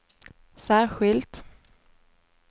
särskilt